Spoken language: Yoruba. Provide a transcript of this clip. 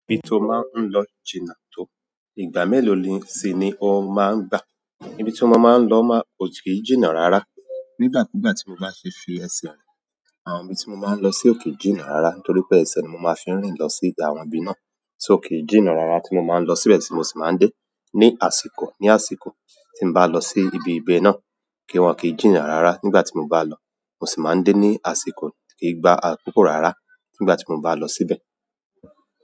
Ibi tí ó máa ń lọ jìnnà tó, ìgbà mélòó si ni ó máa ń gbà? Ibi tí mo máa ń lọ máa ko kì í jìnnà rárá. Nígbà kúgbà tí mo bá ṣe fí ẹsẹ̀ rìn, àwọn ibi tí mo máa ń lọ sì ò kì í jìnnà rárá. Nítorí pé ẹsẹ̀ ni mo máa ń fi rìn lọ sí àwọn ibi náà. Só kì í jìnnà rárá tí mo máa ń lo síbẹ̀ tí mo sì máa ń dẹ. Ni àsìkò, ní àsìkò tí n bá lọ sí ibi ibè náà, kí wọ́n kì í jìnnà rárá nígbà tí mo bá lọ. Mo sì máa ń dé ní àsìkò kí i gba àkókò rárá nígbà tí mo bá lọ síbẹ̀.